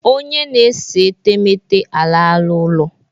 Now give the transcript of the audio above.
Onye na-ese etemeete alala ụlọ